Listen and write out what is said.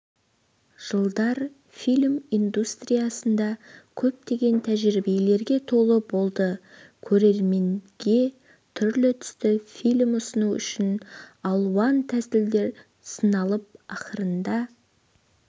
жылдар фильм индустриясында көптеген тәжірибелерге толы болды көрерменге түрлі-түсті фильм ұсыну үшін алуан тәсілдер сыналып ақырында